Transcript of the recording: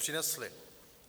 Přinesly.